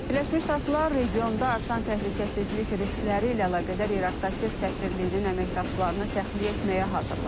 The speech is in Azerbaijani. Birləşmiş Ştatlar regionda artan təhlükəsizlik riskləri ilə əlaqədar İraqdakı səfirliyinin əməkdaşlarını təxliyə etməyə hazırlaşır.